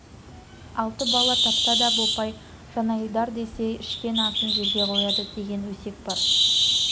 алты бала тапса да бопай жанайдар десе ішкен асын жерге қояды деген өсек бар